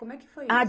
Como é que foi isso?